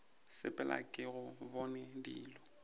sepela ke go bona dilo